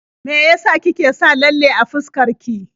Me ya sa kike sa lalle a fuskar ki?